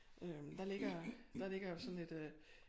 Øh der ligger der ligger jo sådan et øh